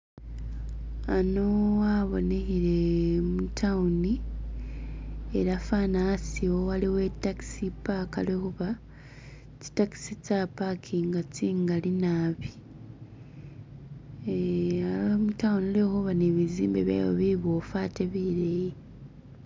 Khano khabonehele mutawuni ela fana hasiwo waliwo takisi paka lwakhuba tsitakisi tsapakinga tsingali naabi eeha mutawuni lwekhuba ni bizimbe bywayo bibofu atee bileyi